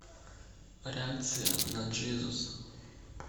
реакция на джизус